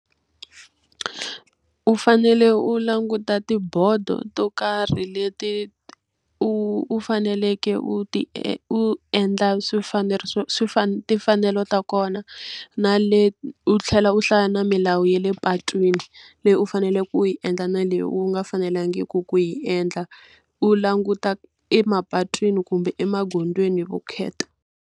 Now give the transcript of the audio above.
U fanele u languta tibodo to karhi leti u u faneleke u ti u endla timfanelo ta kona, na u tlhela u hlaya na milawu ya le patwini leyi u faneleke u yi endla na leyi u nga fanelangiki ku yi endla. U languta emapatwini kumbe emagondzweni vukheta.